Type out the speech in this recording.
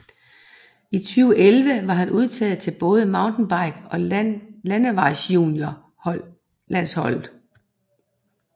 I 2011 var han udtaget til både MTB og landevejsjuniorlandsholdet